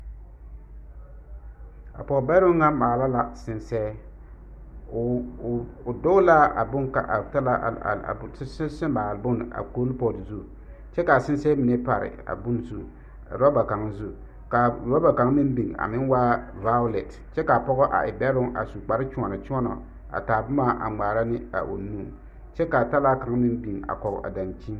A pɔge bɛroŋ na maala la sensɛɛ, o doolaa a bone a sensɛ maale bone a kool-pote zu kyɛ iri a sensɛɛ mine pare a bone zu roba kaŋ zu ka a roba kaŋ meŋ biŋ a meŋ waa vaolɛte kyɛ k'a pɔgɔ a e bɛroŋ a su kpare kyoɔnɔ kyoɔnɔ a taa boma a ŋmaara ne a o nu kyɛ k'a talaa kaŋ meŋ biŋ a kɔge a daŋkyini.